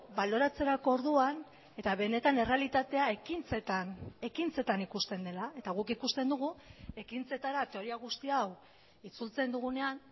baloratzerako orduan eta benetan errealitatea ekintzetan ekintzetan ikusten dela eta guk ikusten dugu ekintzetara teoria guzti hau itzultzen dugunean